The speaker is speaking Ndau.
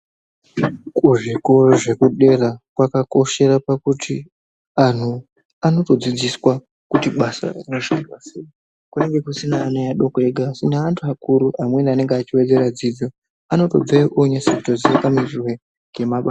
Kuzvikora zvekudera kwakakoshera pakuti anhu anotodzidziswa kuti basa rinoshandwa sei. kunonga kusina ana adoko ega asi neantu akuru amweni anonga eiwedzera dzidzo anotobveyo oonase kuziye maitirwe ngemabasa.